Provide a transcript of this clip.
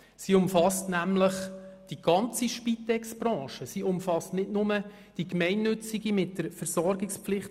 sie umfasst nämlich die ganze Spitexbranche, nicht nur die gemeinnützige mit der Versorgungspflicht;